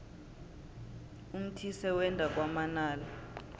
umthise wenda kwamanala